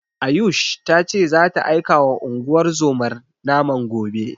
Ayush ta ce zata aikawa unguwar zomar naman gobe.